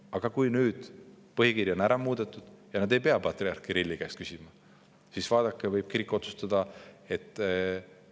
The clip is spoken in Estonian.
Aga kui nüüd põhikiri on ära muudetud ja nad ei pea patriarh Kirilli käest küsima, siis tulevikus võib kirik ise neid asju otsustada.